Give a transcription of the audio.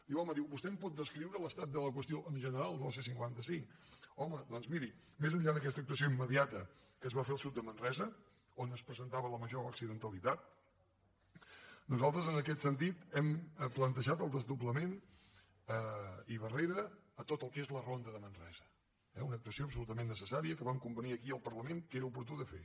diu home vostè em pot descriure l’estat de la qüestió en general de la c cinquanta cinc home doncs miri més enllà d’aquesta actuació immediata que es va fer al sud de manresa on es presentava la major accidentalitat nosaltres en aquest sentit hem plantejat el desdoblament i barrera a tot el que és la ronda de manresa eh una actuació absolutament necessària que vam convenir aquí al parlament que era oportú de fer